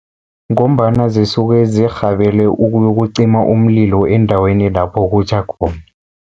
Ngombana zisuke zirhabele ukuyokucima umlilo endaweni lapho kutjha khona.